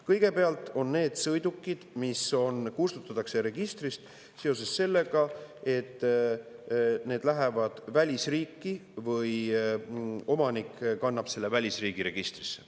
Kõigepealt on need sõidukid, mis kustutatakse registrist seoses sellega, et need lähevad välisriiki või omanik kannab selle välisriigi registrisse.